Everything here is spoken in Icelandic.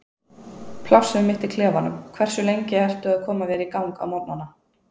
plássið mitt í klefanum Hversu lengi ertu að koma þér í gang á morgnanna?